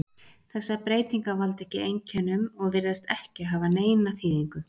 Þessar breytingar valda ekki einkennum og virðast ekki hafa neina þýðingu.